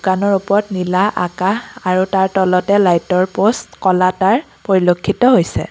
ওপৰত নীলা আকাশ আৰু তলতে লাইটৰ পষ্ট ক'লা তাৰ পৰিলক্ষিত হৈছে।